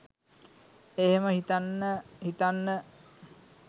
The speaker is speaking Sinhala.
එහෙම හිතන්න හිතන්න